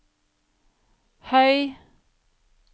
høy